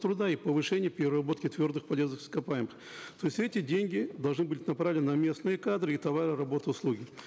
труда и повышение переработки твердых полезных ископаемых то есть эти деньги должны будут направлены на местные кадры и товары работы и услуги